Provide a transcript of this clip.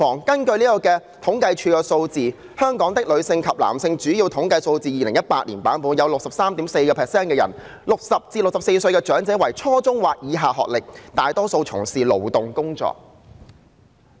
根據政府統計處的《香港的女性及男性——主要統計數字》，本港有 63.4% 的人屬於60至64歲的長者，具初中或以下學歷，大多數從事勞動工作。